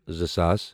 زٕ ساس